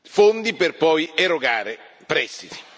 fondi per poi erogare prestiti.